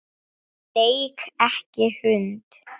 Leik ekki hund.